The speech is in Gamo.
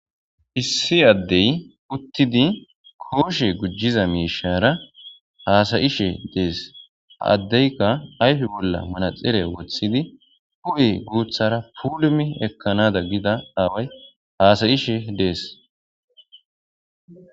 Issi addey uttidi kooshe gujjiza miishara haasayishe dees. Ha addeyka ayfe bolla manaxire woththidi hu7e guuthara puulumi ekkanada gida aaway haasayishe dees.